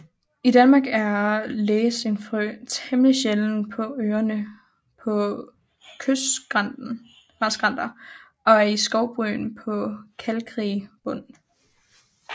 I Danmark er lægestenfrø temmelig sjælden på Øerne på kystskrænter og i skovbryn på kalkrig bund